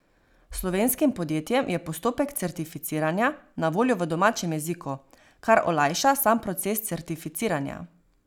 Slovenskim podjetjem je postopek certificiranja na voljo v domačem jeziku, kar olajša sam proces certificiranja.